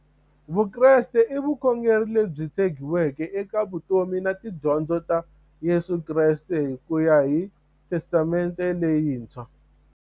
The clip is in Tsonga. Vukreste i vukhongeri lebyi tshegiweke eka vutomi na tidyondzo ta Yesu Kreste kuya hi testamente leyintshwa.